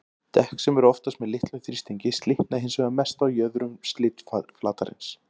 Dekk sem eru oftast með litlum þrýstingi slitna hins vegar mest á jöðrum slitflatarins.